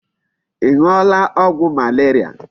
Ị ṅụọla ọgwụ malaria?